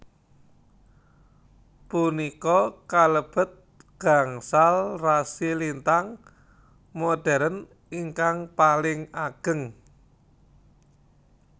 Punika kalebet gangsal rasi lintang modhern ingkang paling ageng